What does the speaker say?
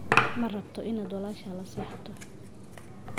Ma rabto inaad walaashaa la seexato.